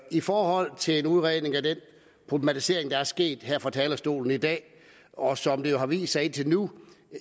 i forhold til en udredning af den problematisering der er sket her fra talerstolen i dag og som det jo har vist sig indtil nu